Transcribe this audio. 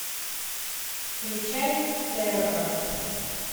включай терра